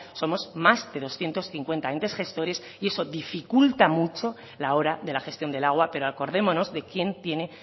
somos más de doscientos cincuenta entes gestores y eso dificulta mucho la hora de la gestión del agua pero acordémonos de quién tiene